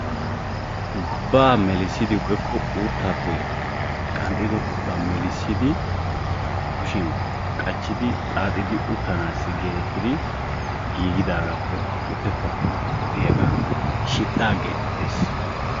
galbaa melissidi woykko uttaappe qanxxidoogaa melissidi kushiyan qachidi xaaxidi utanaassi geetettidi giigdaagaa woykko shidhaa geetettees.